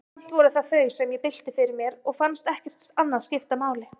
Samt voru það þau, sem ég bylti fyrir mér, og fannst ekkert annað skipta máli.